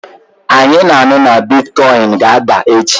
Anyị na-anụ na bịtịkọyịnị ga-ada echi